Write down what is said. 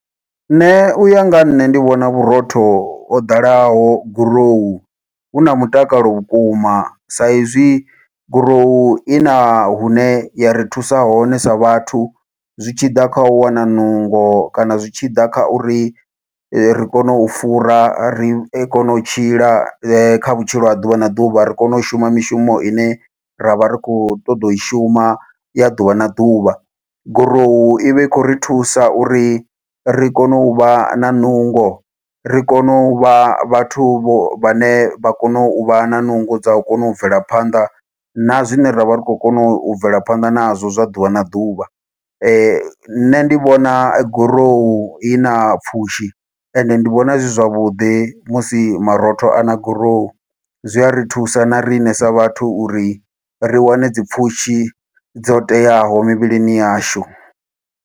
Nṋe uya nga ha nṋe ndi vhona vhurotho ho ḓalaho gurowu, hu na mutakalo vhukuma. Sa izwi gurowu i na hune ya ri thusa hone sa vhathu, zwi tshi ḓa kha u wana nungo, kana zwi tshi ḓa kha uri ri kone u fura. Ri kone u tshila kha vhutshilo ha ḓuvha na ḓuvha, ri kone u shuma mishumo ine ra vha ri khou ṱoḓa u i shuma ya ḓuvha na ḓuvha. Gurowu i vha i khou ri thusa uri ri kone u vha na nungo, ri kone u vha vhathu vho vhane vha kone u vha na nungo dza u kona u bvela phanḓa, na zwine ravha ri khou kona u bvela phanḓa nazwo zwa ḓuvha na ḓuvha. Nṋe ndi vhona gorowu i na pfushi, ende ndi vhona zwi zwavhuḓi musi marotho a na gurowu. Zwi a ri thusa na riṋe sa vhathu uri ri wane dzi pfushi dzo teaho mivhilini yashu.